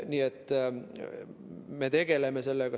Me tegeleme sellega.